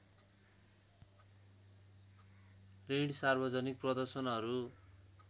ऋण सार्वजनिक प्रदर्शनहरू